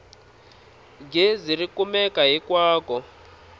gezi ri kumeka hinkwako